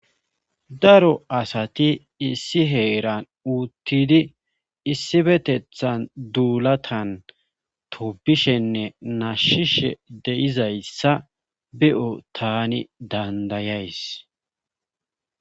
Daro asati issi heeran uuttidi issibetethan duulatan tubishenne nashshishe de7izayssa be7o tani dandayays.